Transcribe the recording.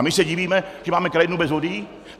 A my se divíme, že máme krajinu bez vody?